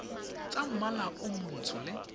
tsa mmala o montsho le